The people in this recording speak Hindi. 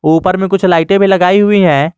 ऊपर में कुछ लाइटें भी लगाई हुई हैं।